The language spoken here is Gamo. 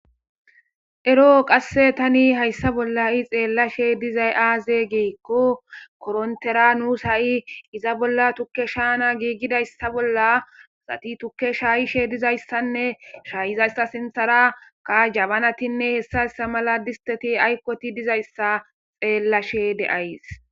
Eroo thani hayssa bolla xeellashee dizay aazee gikkokorinththera nuus ha7i iza bolla thukke shaa7ana giigizaysse bola asathi tukke sh7ishe dizayssa nne shha7iza asa sinththara jabanathinne hessa hessa mala disththethiaykko ooththiid dizayssa xeellashee de7ays.